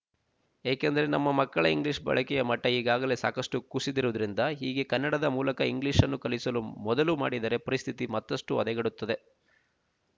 ಏಕೆಂದರೆ ನಮ್ಮ ಮಕ್ಕಳ ಇಂಗ್ಲೀಷ್ ಬಳಕೆಯ ಮಟ್ಟ ಈಗಾಗಲೇ ಸಾಕಷ್ಟು ಕುಸಿದಿರುವುದರಿಂದ ಹೀಗೆ ಕನ್ನಡದ ಮೂಲಕ ಇಂಗ್ಲೀಷನ್ನು ಕಲಿಸಲು ಮೊದಲು ಮಾಡಿದರೆ ಪರಿಸ್ಥಿತಿ ಮತ್ತಷ್ಟು ಹದಗೆಡುತ್ತದೆ